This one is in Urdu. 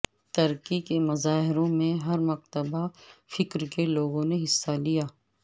ترکی کے مظاہروں میں ہر مکتبہ فکر کے لوگوں نے حصہ لیا